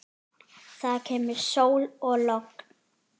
Það kemur sól og logn.